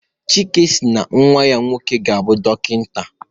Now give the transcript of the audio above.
Chike si na nnwa ya nwoke ga-abụ dọkịta